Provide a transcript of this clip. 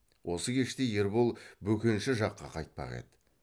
осы кеште ербол бөкенші жаққа қайтпақ еді